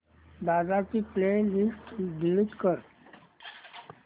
दादा ची playlist delete कर